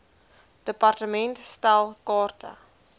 department stel kaarte